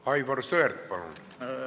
Aivar Sõerd, palun!